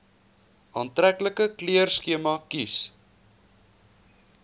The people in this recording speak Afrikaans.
aantreklike kleurskema kies